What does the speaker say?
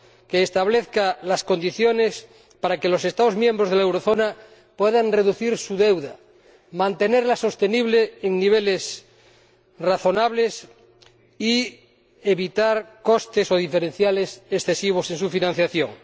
hace falta que establezca las condiciones para que los Estados miembros de la eurozona puedan reducir su deuda, mantenerla sostenible en niveles razonables y evitar costes o diferenciales excesivos en su financiación.